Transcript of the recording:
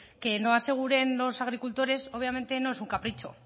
que no aseguren los agricultores obviamente no es un capricho